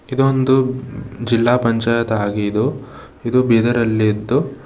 ಇದೊಂದು ಜಿಲ್ಲಾ ಪಂಚಾಯತ್ ಆಗಿದು ಇದು ಬೀದರ್ ಅಲ್ಲಿದ್ದು.